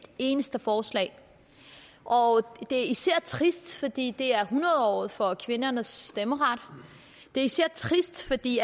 eneste forslag og det er især trist fordi det er hundrede året for kvindernes stemmeret det er især trist fordi